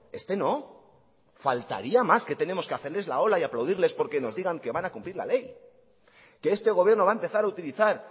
este no faltaría más que tengamos que hacerles la ola y aplaudirles porque nos digan que van a cumplir la ley que este gobierno va a empezar a utilizar